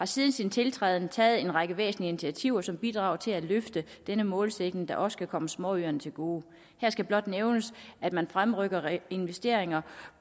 siden sin tiltræden taget en række væsentlige initiativer som bidrager til at løfte denne målsætning der også kan komme småøerne til gode her skal blot nævnes at man fremrykker investeringer